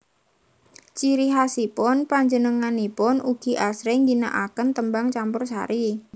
Ciri khasipun panjenenganipun ugi asring ngginaaken tembang campursari